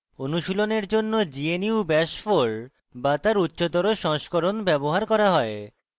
অনুশীলনের জন্য gnu bash 4 bash তার উচ্চতর সংস্করণ ব্যবহার করা হয়